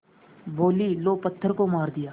बोलीं लो पत्थर को मार दिया